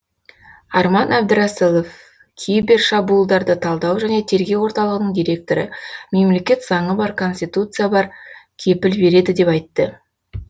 арман әбдірасылов кибер шабуылдарды талдау және тергеу орталығының директоры мемлекет заңы бар конституция бар кепіл береді деп айтты